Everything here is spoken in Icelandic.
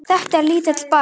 Þetta er lítill bær.